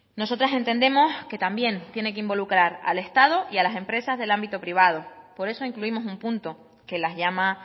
nosotras entendemos que también tiene que involucrar al estado y a las empresas del ámbito privado por eso incluimos un punto que las llama